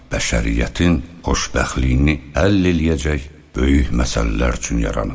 Bəşəriyyətin xoşbəxtliyini əldə eləyəcək böyük məsələlər üçün yaranıb.